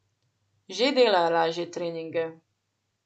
Že dela lažje treninge.